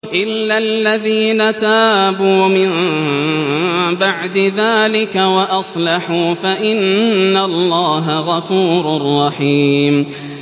إِلَّا الَّذِينَ تَابُوا مِن بَعْدِ ذَٰلِكَ وَأَصْلَحُوا فَإِنَّ اللَّهَ غَفُورٌ رَّحِيمٌ